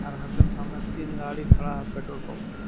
और घर के सामने तीन गाड़ी खड़ा है पेट्रोल पंप पे--